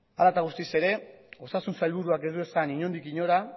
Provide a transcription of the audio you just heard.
hala eta guztiz ere osasun sailburuak ez du esan inondik inora